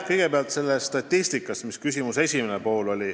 Kõigepealt sellest statistikast, mis oli küsimuse esimeseks pooleks.